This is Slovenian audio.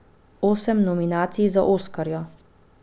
Osem nominacij za oskarja!